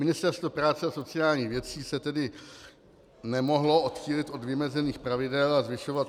Ministerstvo práce a sociálních věcí se tedy nemohlo odchýlit od vymezených pravidel a zvyšovat -